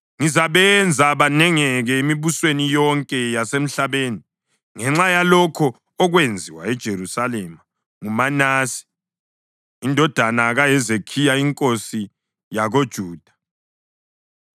Ngizabenza banengeke emibusweni yonke yasemhlabeni ngenxa yalokho okwenziwa eJerusalema nguManase indodana kaHezekhiya inkosi yakoJuda.